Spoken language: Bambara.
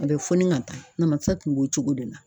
A bɛ fɔni ka taa namasa tun b'o cogo de la.